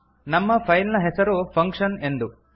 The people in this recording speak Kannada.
ನಮ್ಮ ಫೈಲ್ ನ ಹೆಸರು ಫಂಕ್ಷನ್ ಎಂದು